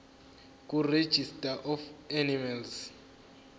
kuregistrar of animals